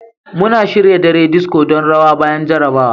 Muna shirya dare disco don rawa bayan jarrabawa.